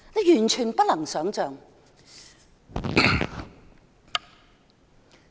完全不能想象。